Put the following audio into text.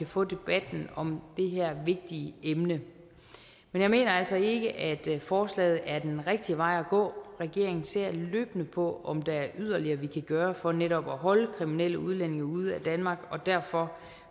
få debatten om det her vigtige emne men jeg mener altså ikke at forslaget er den rigtig vej at gå regeringen ser løbende på om der er yderligere vi kan gøre for netop at holde kriminelle udlændinge ude af danmark derfor